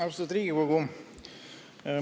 Austatud Riigikogu!